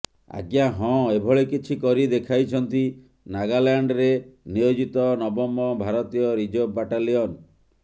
ଆଜ୍ଞା ହଁ ଏଭଳି କିଛି କରି ଦେଖାଇଛନ୍ତି ନାଗାଲ୍ୟାଣ୍ଡରେ ନିୟୋଜିତ ନବମ ଭାରତୀୟ ରିଜର୍ଭ ବାଟାଲିଅନ୍